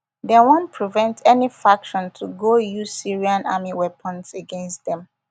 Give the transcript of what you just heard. dem wan prevent any faction to go use syrian army weapons against dem